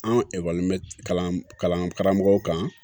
An ekɔlimeri kalan kalan karamɔgɔw kan